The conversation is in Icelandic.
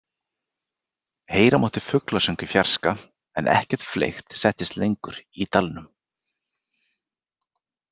Heyra mátti fuglasöng í fjarska en ekkert fleygt settist lengur í dalnum.